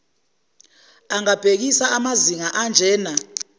angabhekisa kumazinga anjena